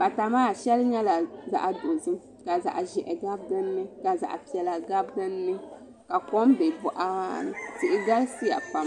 pata maa shɛli nyɛla zaɣ dozim ka zaɣ ʒiɛhi gabi dinni ka zaɣ piɛla gabi dinni ka kom bɛ boɣa maa ni tihi galisiya pam